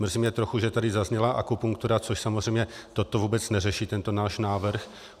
Mrzí mě trochu, že tady zazněla akupunktura, což samozřejmě toto vůbec neřeší, tento náš návrh.